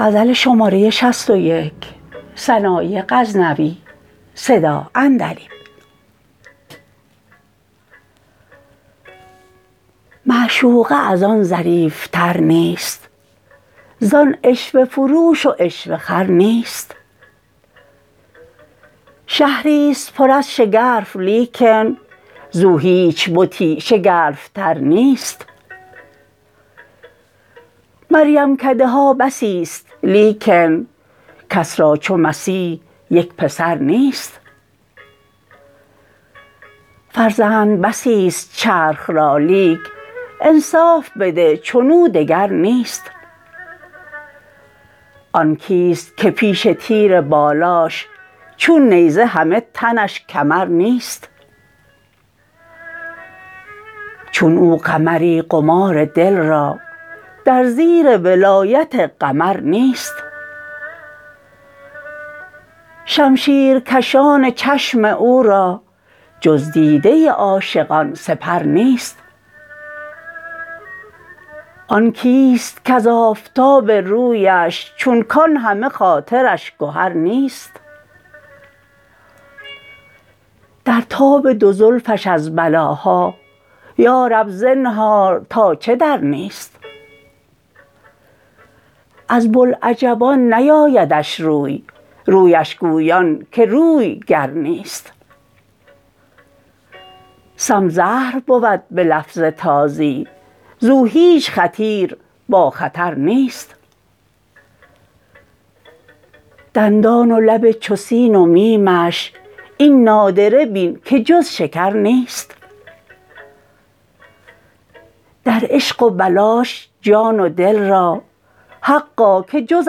معشوقه از آن ظریف تر نیست زان عشوه فروش و عشوه خر نیست شهری ست پر از شگرف لیکن زو هیچ بتی شگرف تر نیست مریم کده ها بسی ست لیکن کس را چو مسیح یک پسر نیست فرزند بسی ست چرخ را لیک انصاف بده چنو دگر نیست آن کیست که پیش تیر بالاش چون نیزه همه تنش کمر نیست چون او قمری قمار دل را در زیر ولایت قمر نیست شمشیرکشان چشم او را جز دیده عاشقان سپر نیست آن کیست کز آفتاب رویش چون کان همه خاطرش گهر نیست در تاب دو زلفش از بلاها یارب زنهار تا چه در نیست از بلعجبان نیایدش روی رویش گویان که روی گر نیست سم زهر بود به لفظ تازی زو هیچ خطیر با خطر نیست دندان و لب چو سین و میمش این نادره بین که جز شکر نیست در عشق و بلاش جان و دل را حقا که جز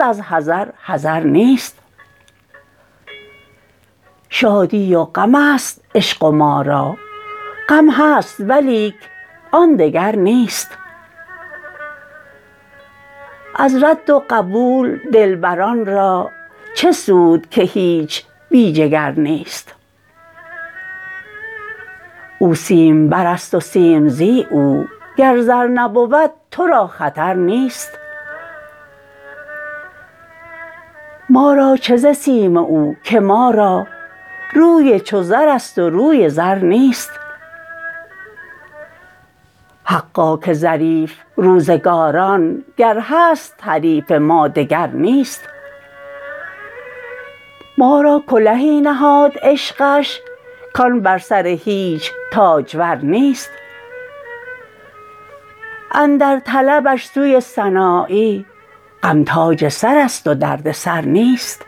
از حذر حذر نیست شادی و غم است عشق و ما را غم هست ولیک آن دگر نیست از رد و قبول دلبران را چه سود که هیچ بی جگر نیست او سیم بر است و لیک زی او گر زر نبود ترا خطر نیست ما را چه ز سیم او که ما را روی چو زرست و روی زر نیست حقا که ظریف روزگار است گر هست حریف ما وگر نیست ما را کلهی نهاد عشقش کان بر سر هیچ تاجور نیست اندر طلبش سوی سنایی غم تاج سر است و درد سر نیست